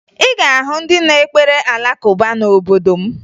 Ị ga-ahụ ndị na-ekpere Alakụba n'obodo m